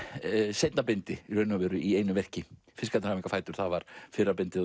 seinna bindi í einu verki fiskarnir hafa enga fætur var fyrra bindið